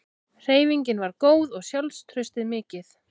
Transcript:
Hreyfingin var góð og sjálfstraustið mikið.